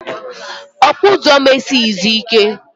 Okpa ụzọ m esighizi ike